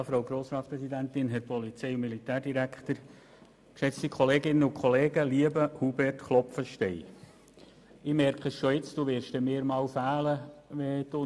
Du wirst mir fehlen, wenn du einmal nicht mehr im Rat sitzt, und ich dann vielleicht auch nicht mehr, wir werden sehen.